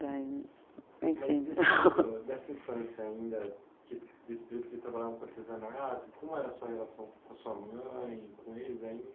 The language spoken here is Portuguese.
enfim. Dessa infância ainda, tipo, desse período em que eles trabalhavam com artesanato, como era a sua relação com sua mãe, com eles ainda?